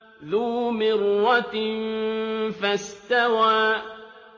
ذُو مِرَّةٍ فَاسْتَوَىٰ